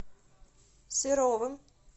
серовым